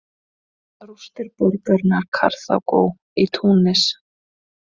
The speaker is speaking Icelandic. Rústir borgarinnar Karþagó í Túnis.